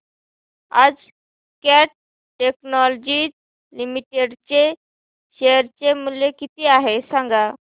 आज Cat technologies limited चे share चे मूल्य किती आहे सांगा